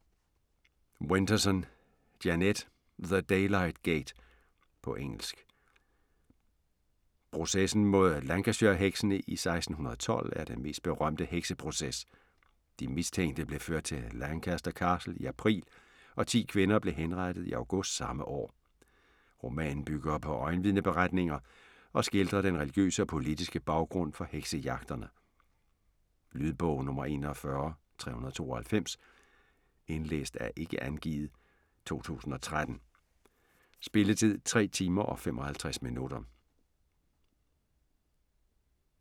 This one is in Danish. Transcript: Winterson, Jeanette: The daylight gate På engelsk. Processen mod Lancashire-heksene i 1612 er den mest berømte hekseproces. De mistænkte blev ført til Lancaster Castle i april og 10 kvinder blev henrettet i august samme år. Romanen bygger på øjenvidneberetninger og skildrer den religiøse og politiske baggrund for heksejagterne. Lydbog 41392 Indlæst af Ikke angivet, 2013. Spilletid: 3 timer, 55 minutter.